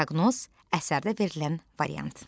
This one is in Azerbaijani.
Proqnoz əsərdə verilən variant.